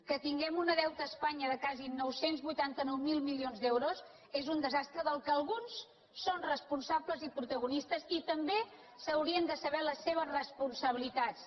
que tinguem un deu·te a espanya de quasi nou cents i vuitanta nou mil milions d’euros és un desastre del qual alguns són responsables i protago·nistes i també s’haurien de saber les seves responsa·bilitats